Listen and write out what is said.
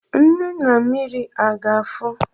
Nnu na mmiri a ga-afọ?